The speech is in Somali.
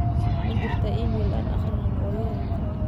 ma jirtaa iimayl aan aqrinin oo yahoo